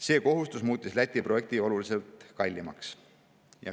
See kohustus muutis Läti projekti oluliselt kallimaks.